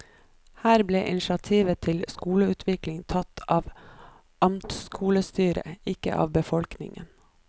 Her ble initiativet til skoleutvikling tatt av amtskolestyret, ikke av befolkningen.